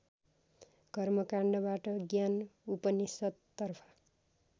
कर्मकान्डबाट ज्ञान उपनिषद्तर्फ